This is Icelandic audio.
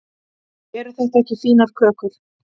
eru þetta ekki fínar kökur